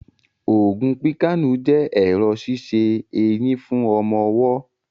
Ògùn píkàànù jẹ́ ẹ̀rọ̀ ṣíṣe eyín fún ọmọ ọwọ́